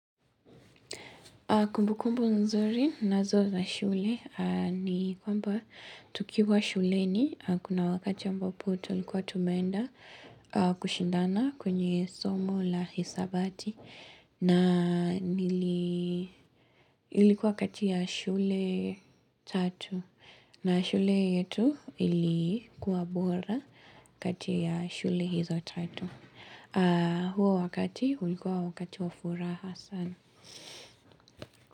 Kumbukumbu nzuri ninazo za shule ni kwamba tukiwa shuleni, kuna wakati ya ambapo tulikuwa tumeenda kushindana kwenye somo la hisabati na nili ilikuwa kati ya shule tatu na shule yetu ilikuwa bora kati ya shule hizo tatu. Huo wakati ulikuwa wakati wa furaha sana.